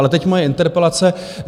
Ale teď moje interpelace.